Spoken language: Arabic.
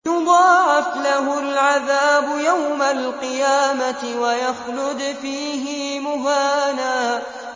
يُضَاعَفْ لَهُ الْعَذَابُ يَوْمَ الْقِيَامَةِ وَيَخْلُدْ فِيهِ مُهَانًا